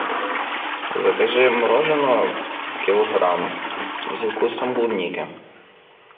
закажи мороженое килограмм со вкусом клубники